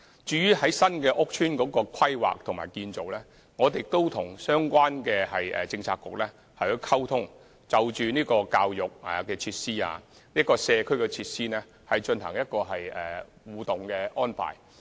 至於新屋邨規劃和建造，我們也與相關政策局溝通，就教育設施和社區設施進行互動安排。